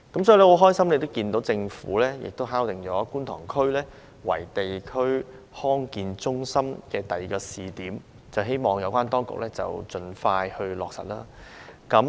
所以，我很高興看到政府敲定以觀塘區為地區康健中心的第二個試點，希望有關當局盡快落實。